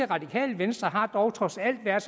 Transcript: radikale venstre har dog trods alt været